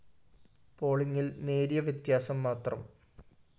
പോളിംഗില്‍ നേരിയ വ്യത്യാസം മാത്രം